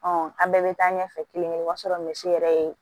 an bɛɛ bɛ taa ɲɛfɛ kelen kelen o b'a sɔrɔ misi yɛrɛ ye